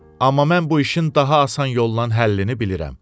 Amma mən bu işin daha asan yollan həllini bilirəm.